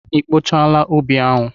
I kpochaala ubi ahụ?